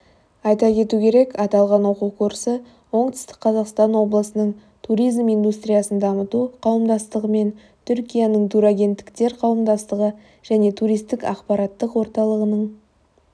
айта кету керек аталған оқу курсы оңтүстік қазақстан облысының туризм индустриясын дамыту қауымдастығы мен түркияның турагенттіктер қауымдастығы және туристік ақпараттық орталығының